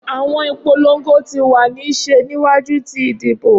Awọn ipolongo ti wa ni ṣe niwaju ti idibo.